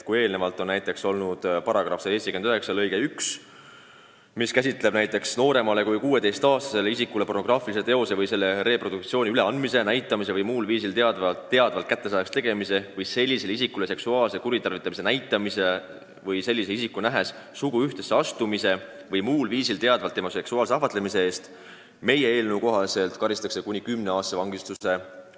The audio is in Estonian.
Eelnõu kohaselt ütleb § 179 lõige 1, et nooremale kui 16-aastasele isikule pornograafilise teose või selle reproduktsiooni üleandmise, näitamise või muul viisil teadvalt kättesaadavaks tegemise või sellisele isikule seksuaalse kuritarvitamise näitamise või sellise isiku nähes suguühtesse astumise või muul viisil teadvalt tema seksuaalse ahvatlemise eest karistatakse rahalise karistuse või kuni kümneaastase vangistusega.